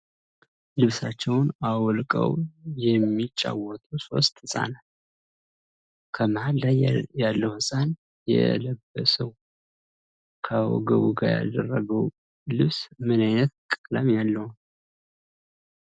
ልብሳቸውን አውልቀው የሚጫወቱ ሶስት ህፃናት ። ከመሃል ላይ ያለው ህፃን የለበሰው ከወገቡ ጋ ያደረገው ልብስ ምን አይነት ቀለም ያለው ነው?